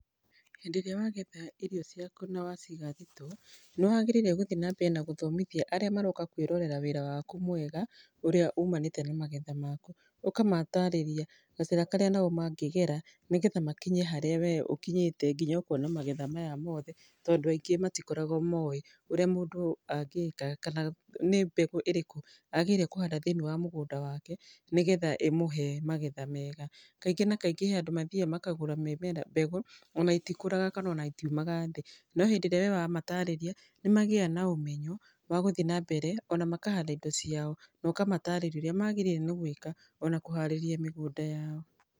Hĩndĩ ĩrĩa wagetha irio ciaku na waciga thitoo, nĩ wagĩrĩire gũthiĩ nambere na gũthomithia arĩa marooka kwĩrorera wĩra waku mwega, ũrĩa umanĩte na magetha maku. Ũkamatarĩria gacĩra karĩa nao mangĩgera nĩgetha makinye harĩa we ũkinyĩte nginya ũkona magetha maya mothe, tondũ aingĩ matikoragwo moĩ ũrĩa mũndũ angĩka kana nĩ mbegũ ĩrĩkũ agarĩire kũhanda thĩini wa mũgũnda wake nĩ getha ĩmũhe magetha mega. Kaingĩ na kaingĩ he andũ mathiaga makagũra mĩmera, mbegũ ona itikũraga kana ona itiumaga thĩ, no hĩndĩ ĩrĩa we wamatarĩria nĩ magiaga na ũmenyo wa gũthiĩ na mbere ona makahanda indo ciao. Na ũkamatarĩria ũrĩa magĩrĩirũo nĩ gwĩka ona kũharĩria mĩgũnda yao.